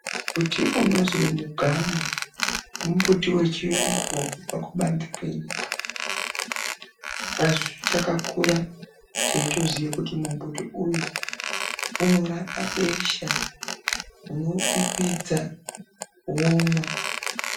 Muti inozi mugamu, mumbiti wechiyungu wakabva kubanzi kwenyika, asi takakura teitoziye kuti mumbuti uyu, unorapa besha, unoupipidza, womwa.